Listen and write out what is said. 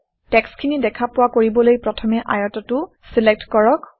টেক্সট্খিনি দেখা পোৱা কৰিবলৈ প্ৰথমে আয়তটো চিলেক্ট কৰক